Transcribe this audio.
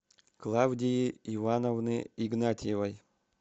клавдии ивановны игнатьевой